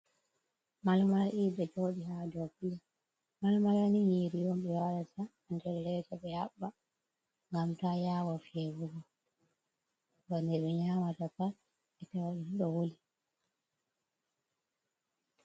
Malmala ɗiɗi ɗo joɗi ha do plate, malmala ni nyiri on ɓe wadata ha nder leda ɓe heɓɓa ngam ta yawo fewugo, heɓa de ɓe nyamata pat ɓe tawa ɗum ɗo wuli.